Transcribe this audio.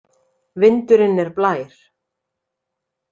Vindurinn er blær!